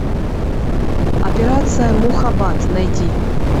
операция мухаббат найти